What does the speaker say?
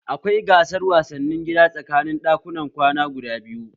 Akwai gasar wasanni gida tsakanin ɗakunan kwana guda biyu